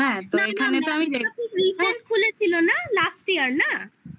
হ্যাঁ তো এখানে তো আমি দেখছি. ওরকম recent খুলেছিল না? last year না?